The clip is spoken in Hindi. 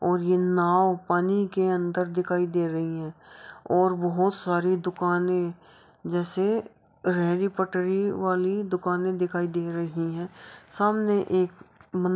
और ये नाव पानी के अन्दर दिखाई दे रही है और बहोत सारे दुकानें जैसे रेड़ी पटरी वाली दुकानें दिखाई दे रही हैं। सामने एक मन --